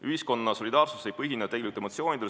Ühiskonna solidaarsus ei põhine tegelikult emotsioonidel.